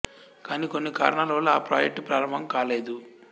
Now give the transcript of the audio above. కానీ కొన్ని కారణాల వల్ల ఆ ప్రాజెక్టు ప్రారంభం కాలేదు